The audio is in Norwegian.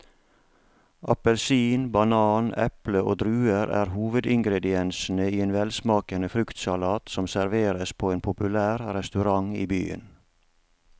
Appelsin, banan, eple og druer er hovedingredienser i en velsmakende fruktsalat som serveres på en populær restaurant i byen.